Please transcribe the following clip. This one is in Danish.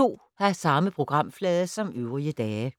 Samme programflade som øvrige dage